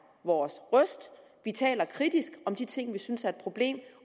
vores røst vi taler kritisk om de ting vi synes er et problem